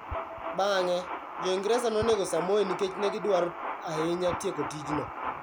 Bang'e, Jo-Ingresa nonego Samoei nikech ne gidwaro ahinya tieko tijno.